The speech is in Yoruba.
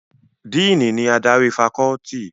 Díìnì ni adarí fakọ́ọ́tì.